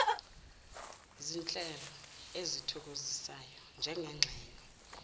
zinhlelo ezithokozisayo njengengxenye